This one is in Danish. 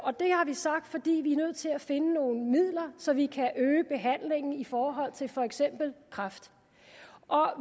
har vi sagt fordi vi er nødt til at finde nogle midler så vi kan øge behandlingen i forhold til for eksempel kræft